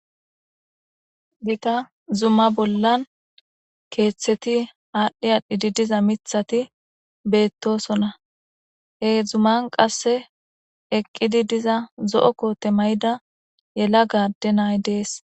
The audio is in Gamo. Gita zuma bollan keeththeti aadhi aadhidi diza mithati beetoosona. He zuman qasse eqqidi diza zo7o koote mayida yelaga adde na7ay de7ees.